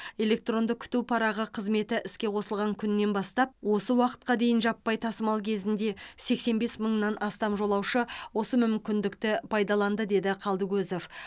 электронды күту парағы қызметі іске қосылған күннен бастап осы уақытқа дейін жаппай тасымал кезінде сексен бес мыңнан астам жолаушы осы мүмкіндікті пайдаланды деді қалдыкозов